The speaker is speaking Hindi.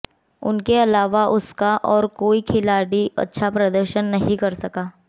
उनके अलावा उसका और कोई खिलाड़ी अच्छा प्रदर्शन नहीं कर सका